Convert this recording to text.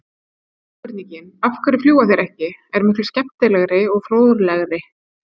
Hin spurningin, af hverju fljúga þeir ekki, er miklu skemmtilegri og fróðlegri!